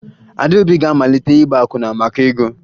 Adaobi ga-amalite ịgba akwụna maka ego